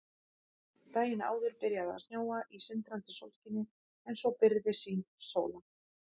Daginn áður byrjaði að snjóa í sindrandi sólskini en svo byrgði sýn til sólar.